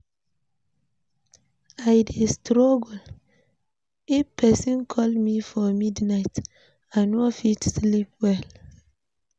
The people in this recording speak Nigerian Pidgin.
I dey struggle if person call me for midnight, I no fit sleep well.